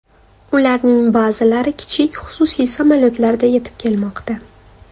Ularning ba’zilari kichik xususiy samolyotlarda yetib kelmoqda.